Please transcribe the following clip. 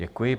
Děkuji.